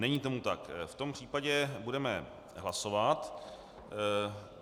Není tomu tak, v tom případě budeme hlasovat.